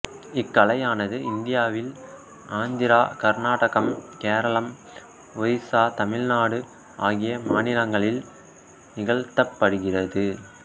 இக்கலையானது இந்தியாவில் ஆந்திரா கர்நாடகம் கேரளம் ஒரிசா தமிழ்நாடு ஆகிய மாநிலங்களில் நிகழ்த்தப்படுகிறது